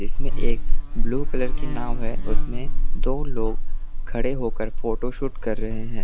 इसमें एक blue colour की नांव है उसमें दो लोग खड़े होकर फोटोशूट कर रहे हैं।